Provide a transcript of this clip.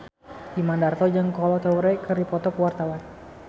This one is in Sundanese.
Imam Darto jeung Kolo Taure keur dipoto ku wartawan